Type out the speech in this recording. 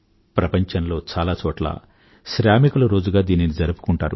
ప్రపంచంలో దీనిని చాలా చోట్ల శ్రామికుల రోజుగా జరుపుకుంటారు